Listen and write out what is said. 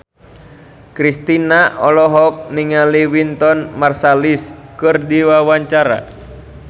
Kristina olohok ningali Wynton Marsalis keur diwawancara